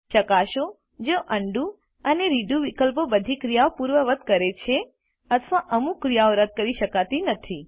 ચકાસો જો ઉંડો અને રેડો વિકલ્પો બધી ક્રિયાઓ પૂર્વવત્ કરે છે અથવા અમુક ક્રિયાઓ રદ કરી શકાતી નથી